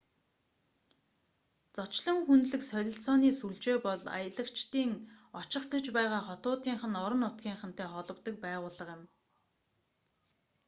зочлон хүндлэх солилцооны сүлжээ бол аялагчдын очих гэж байгаа хотуудынх нь орон нутгийнхантай холбодог байгууллага юм